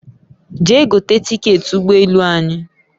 Jee gote tiketi ugbo elu anyi